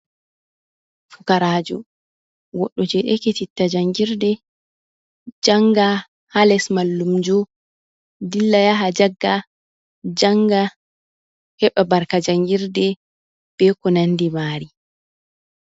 Fukarajo, goɗɗo je ekititta jangirɗe janga ha les mallumjo. Ɗilla yaha jagga, janga, heba barka jangirɗe ɓe ko nanɗi mari.